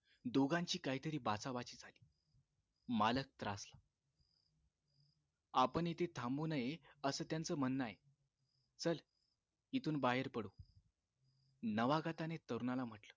दोघांची काहीतरी बाचाबाची झाली मालक त्रासला आपण इथे थांबू नये असं त्यांचं म्हणणं आहे चल इथून बाहेर पडू नवागताने तरुणाला म्हटलं